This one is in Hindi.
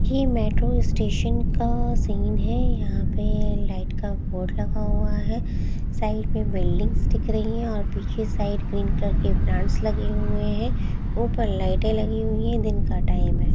ये मेट्रो स्टेशन का -- सीन है यहां पे लाइट का बोर्ड लगा हुआ है साइड में बिल्डिंग्स दिख रही है और पीछे साइड ग्रीन कलर के प्लांट्स लगे हुए हैं ऊपर लाइटें लगी हुई है दिन का टाइम है।